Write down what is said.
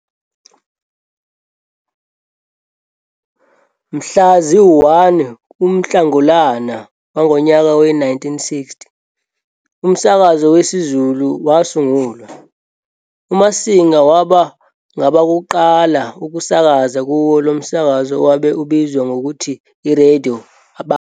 Mhla zi-1 kuNhlangulana wangonyaka we-1960 umskakazo wesiZulu wasungulwa, uMasinga waba ngabakuqala ukusakaza kuwo lomsakazo owabe ubizwa ngokuthi i-Radio Bantu.